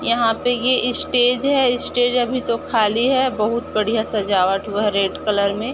यहाँ पे ये ईस्टेज है इस्टेज अभी तो खाली है बहूत बढ़िया सजावट हुआ है रेड कलर में --